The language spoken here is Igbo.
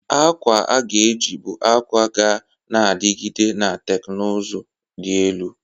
Akwa a ga-eji bụ akwa ga na-adigide na teknụzụ dị elu.